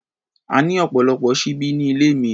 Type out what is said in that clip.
A ní ọ̀pọ̀lọpọ̀ ṣíbí ní ilé mi.